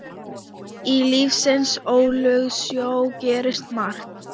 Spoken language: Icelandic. Í lífsins ólgusjó gerist margt.